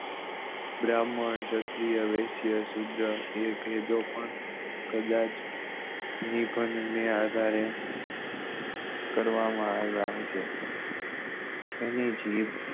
બ્રાહ્મણ ક્ષત્રિય વૈશીય શુત્ર પણ કદાચ નિબંધ નાં આધારે કરવા માં આવ્યા હશે જેની જીદ